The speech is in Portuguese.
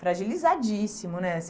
Fragilizadíssimo, né?